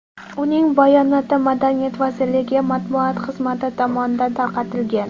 Uning bayonoti Madaniyat vazirligi matbuot xizmati tomonidan tarqatilgan .